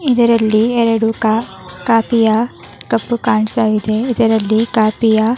ಇದರಲ್ಲಿ ಎರಡು ಕಾ ಕಾಫಿಯ ಕಪ್ಪು ಕಾಣ್ಸ್ತ ಇದೆ ಇದರಲ್ಲಿ ಕಾಫಿಯ --